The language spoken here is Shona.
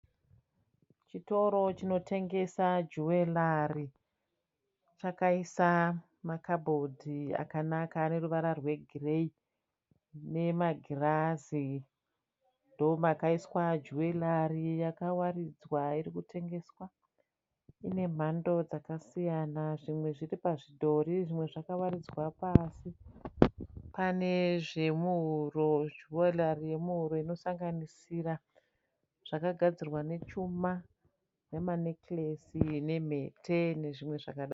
Chitoro chinotengesa juwerari chakaisa makabhodhi akanaka aneruvara rwegiriyei nemagirazi, ndomakaiswa juwerari yakawaridzwa irikutengeswa. Ine mhando dzakasiyana. Zvimwe zviripazvidhori zvimwe zvakawadzirwa pasi pane zvemuhoro juwerari yemuhuro, inosanganisira zvakagadzirwa nechuma nemanikiresi nemhete nezvimwe zvakadaro.